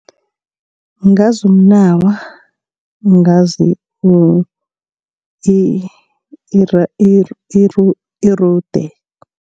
Ngazi umnawa ngazi irude.